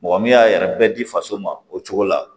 Mɔgɔ min y'a yɛrɛ bɛɛ di faso ma o cogo la